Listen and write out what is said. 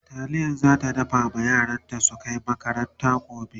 taliya zata dafa ma yaranta su Kai makaranta gobe